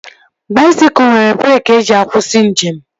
Baisikụl nwere breeki eji akwụsị njem